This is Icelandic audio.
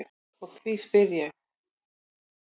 Og því spyr ég.